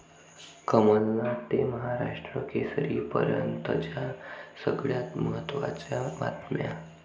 कमलनाथ ते महाराष्ट्र केसरीपर्यंतच्या सगळ्यात महत्त्वाच्या बातम्या